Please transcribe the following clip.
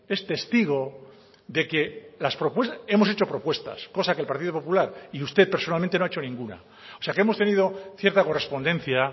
es testigo de que las propuestas hemos hecho propuestas cosa que el partido popular y usted personalmente no ha hecho ninguna o sea que hemos tenido cierta correspondencia